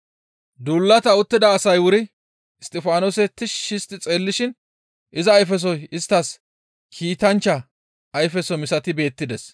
Duulata uttida asay wuri Isttifaanose tishshi histti xeellishin iza ayfesoy isttas kiitanchcha ayfeso misati beettides.